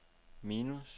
minus